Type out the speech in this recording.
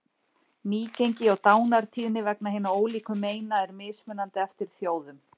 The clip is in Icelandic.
Nýgengi og dánartíðni vegna hinna ólíku meina er mismunandi eftir þjóðum.